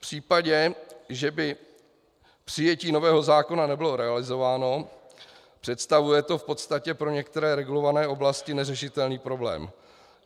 V případě, že by přijetí nového zákona nebylo realizováno, představuje to v podstatě pro některé regulované oblasti neřešitelný problém.